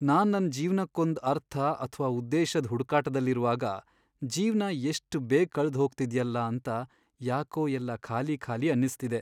ನಾನ್ ನನ್ ಜೀವ್ನಕ್ಕೊಂದ್ ಅರ್ಥ ಅಥ್ವಾ ಉದ್ದೇಶದ್ ಹುಡುಕಾಟ್ದಲ್ಲಿರುವಾಗ ಜೀವ್ನ ಎಷ್ಟ್ ಬೇಗ್ ಕಳ್ದ್ ಹೋಗ್ತಿದ್ಯಲ್ಲ ಅಂತ ಯಾಕೋ ಎಲ್ಲ ಖಾಲಿ ಖಾಲಿ ಅನ್ನಿಸ್ತಿದೆ.